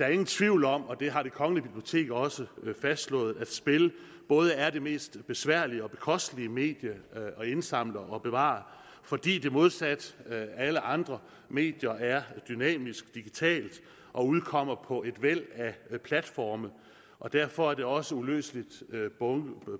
er ingen tvivl om og det har det kongelige bibliotek også fastslået at spil både er det mest besværlige og bekostelige medie at indsamle og bevare fordi det modsat alle andre medier er dynamisk digitalt og udkommer på et væld af platforme og derfor er det også uløseligt